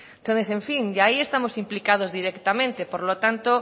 entonces en fin ya ahí estamos implicados directamente por lo tanto